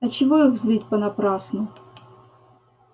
а чего их злить понапрасну